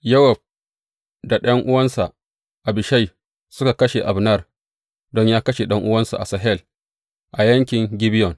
Yowab da ɗan’uwansa Abishai suka kashe Abner don yă kashe ɗan’uwansu Asahel a yaƙin Gibeyon.